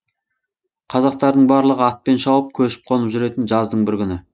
қазақтардың барлығы атпен шауып көшіп қонып жүретін жаздың бір күні